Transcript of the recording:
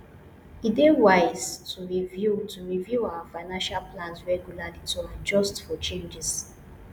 e dey wise to review to review our financial plans regularly to adjust for changes